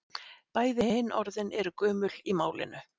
Bæði hin orðin eru gömul í málinu.